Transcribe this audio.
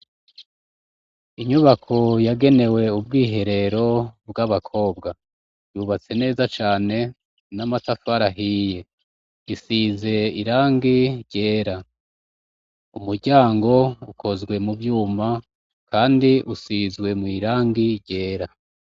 Inyubako yagenewe ubwiherero bw'abakobwa. Yubatse neza cane n'amatafari ahiye. Isize irangi ryera. Umuryango ukozwe mu vyuma kandi usizwe mw'irangi ryera.